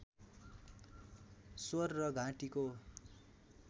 स्वर र घाँटीको